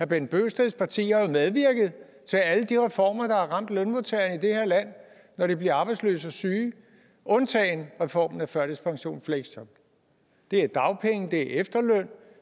bent bøgsteds parti har medvirket til alle de reformer der har ramt lønmodtagerne i det her land når de bliver arbejdsløse og syge undtagen reformen af førtidspension og fleksjob det er dagpenge efterløn